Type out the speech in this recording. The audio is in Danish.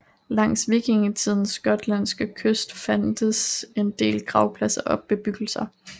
Langs vikingtidens gotlandske kyst fandtes en del gravpladser og bebyggelser